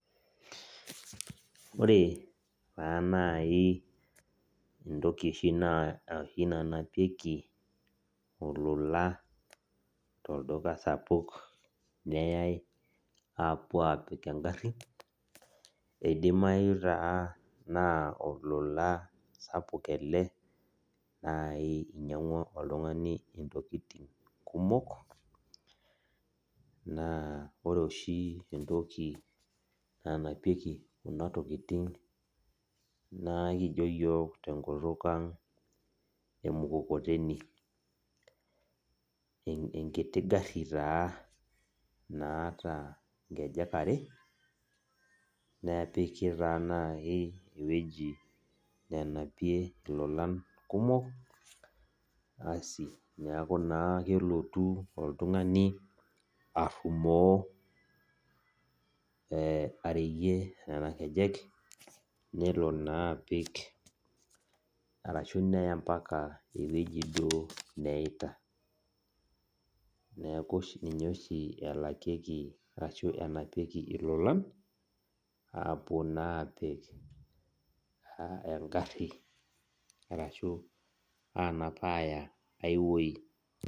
Ore taa nai entoki oshi nanapieki olola tolduka sapuk neyai apuo apik egarri, eidimayu taa naa olola sapuk ele nai inyang'ua oltung'ani intokiting kumok, naa ore oshi entoki nanapieki kuna tokiting, naa kijo yiok tenkutuk ang' emukokoteni. Enkiti garri taa naata ngejek are, nepiki taa nai ewueji nenapie ilolan kumok, asi neeku naa kelotu oltung'ani arrumoo areyie nena kejek, nelo naa apik arashu neya mpaka ewueji duo neita. Neeku ninye oshi elakieki arashu enapieki ilolan, apuo naa apik egarri arashu anap aya ai woi.